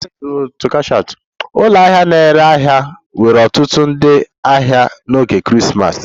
Ụlọ ahịa na-ere ahịa nwere ọtụtụ ndị ahịa n'oge Krismas